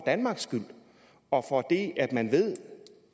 danmarks skyld og for at man ved